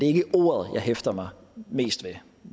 ikke ordet jeg hæfter mig mest ved